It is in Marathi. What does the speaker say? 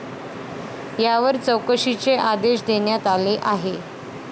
यावर चौकशीचे आदेश देण्यात आले आहे.